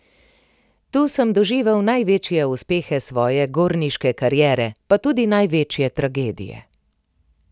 Tu sem doživel največje uspehe svoje gorniške kariere pa tudi največje tragedije.